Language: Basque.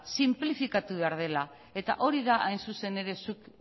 sinplikatu behar dela eta hori da hain zuzen ere zuk